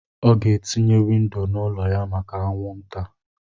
Ọ ga-etinye windo n'ụlọ ya maka anwụnta.